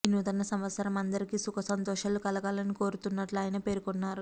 ఈనూతన సంవత్సరం అందరికీ సుఖ సంతోషాలు కలగాలని కోరుతున్నట్లు ఆయన పేర్కొన్నారు